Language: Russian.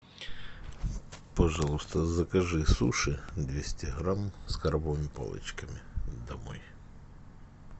пожалуйста закажи суши двести грамм с крабовыми палочками домой